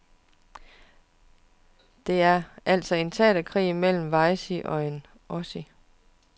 Det er altså en teaterkrig mellem en wessie og en ossie.